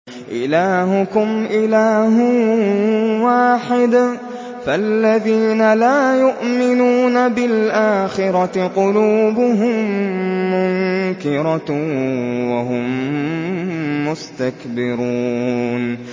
إِلَٰهُكُمْ إِلَٰهٌ وَاحِدٌ ۚ فَالَّذِينَ لَا يُؤْمِنُونَ بِالْآخِرَةِ قُلُوبُهُم مُّنكِرَةٌ وَهُم مُّسْتَكْبِرُونَ